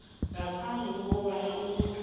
ngaphambi kobana umuntu